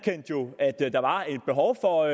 der var et behov for